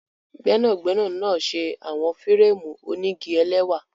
Gbẹnagbẹna na ṣe awọn férémù onigi ẹlẹwa